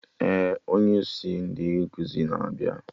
Ee, onye isi ndị nkụzi na-abịa